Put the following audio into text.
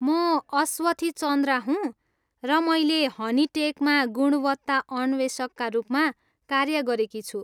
म अस्वथी चन्द्रा हुँ र मैले हनिटेकमा गुणवत्ता अन्वेषकका रूपमा कार्य गरेकी छु।